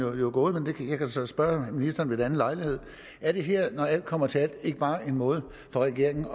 gået men jeg kan så spørge ministeren ved en anden lejlighed er det her når alt kommer til alt ikke bare en måde for regeringen